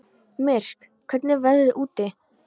Myrk, hvernig er veðrið úti?